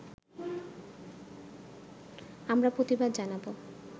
আমরা প্রতিবাদ জানাব